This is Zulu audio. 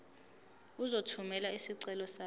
uzothumela isicelo sakho